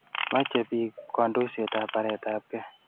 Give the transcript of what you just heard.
Meche bik kandoisyetab baretab gee.